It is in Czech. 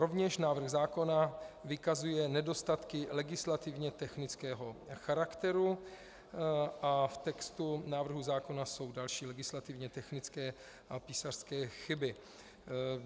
Rovněž návrh zákona vykazuje nedostatky legislativně technického charakteru a v textu návrhu zákona jsou další legislativně technické a písařské chyby.